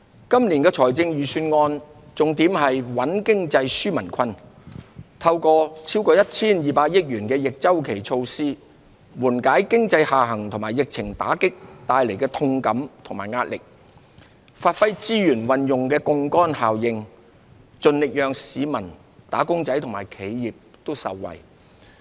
今年的財政預算案重點在穩經濟、紓民困，透過逾 1,200 億元的逆周期措施，緩解經濟下行及疫情打擊帶來的痛感與壓力，發揮資源運用的槓桿效應，盡力讓市民、"打工仔"和企業也受惠。